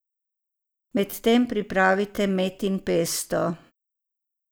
Med tem pripravite metin pesto.